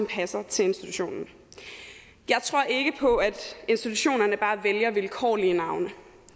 passer til institutionen jeg tror ikke på at institutionerne bare vælger vilkårlige navne